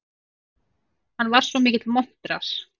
Hann var svo mikill montrass.